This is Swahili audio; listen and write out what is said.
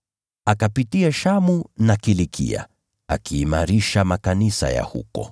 Akapitia Shamu na Kilikia, akiimarisha makanisa ya huko.